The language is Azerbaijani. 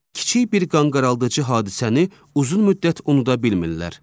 Kiçik bir qanqaraldıcı hadisəni uzun müddət unuda bilmirlər.